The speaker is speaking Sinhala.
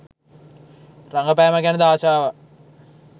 රඟපෑම ගැනද ආශාවක්